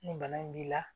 Ni bana in b'i la